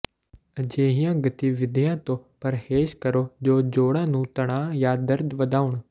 ਅਜਿਹੀਆਂ ਗਤੀਵਿਧੀਆਂ ਤੋਂ ਪਰਹੇਜ਼ ਕਰੋ ਜੋ ਜੋੜਾਂ ਨੂੰ ਤਣਾਅ ਜਾਂ ਦਰਦ ਵਧਾਉਣ